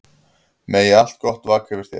Megi allt gott vaka yfir þér.